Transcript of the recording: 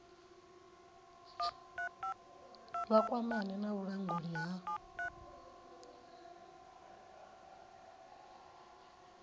vha kwamane na vhulanguli ha